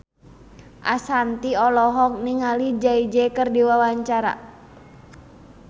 Ashanti olohok ningali Jay Z keur diwawancara